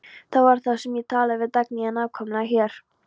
Það var hér sem ég talaði við Dagnýju, nákvæmlega hér.